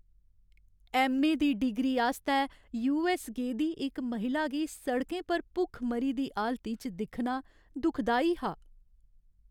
MA दी degree आस्तै US गेदी इक महिला गी सड़कें पर भुखमरी दी हालती च दिक्खना दुखदाई हा।